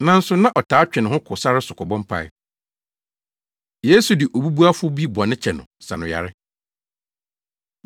Nanso na ɔtaa twe ne ho kɔ sare so kɔbɔ mpae. Yesu De Obubuafo Bi Bɔne Kyɛ No Sa No Yare